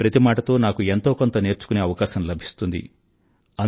మీ ప్రతి మాటతో నాకు ఎంతో కొంత నేర్చుకునే అవకాశం లభిస్తుంది